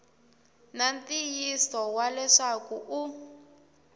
na ntiyiso wa leswaku u